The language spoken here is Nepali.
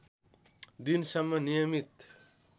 दिन सम्म नियमित